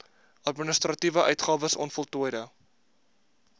administratiewe uitgawes onvoltooide